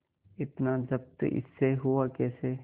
इतना जब्त इससे हुआ कैसे